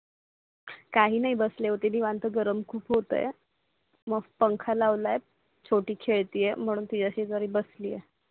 काही नाही बसले होते निवांत गरम खूप होतो यार मस्त पंखा लावलाय छोटी खिडकी म्हणून तरी असि तरी बसली